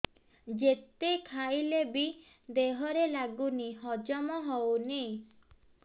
ଯେତେ ଖାଇଲେ ବି ଦେହରେ ଲାଗୁନି ହଜମ ହଉନି